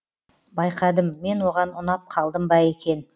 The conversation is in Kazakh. байқадым мен оған ұнап қалдым ба екен